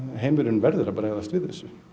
heimurinn verður að bregðast við þessu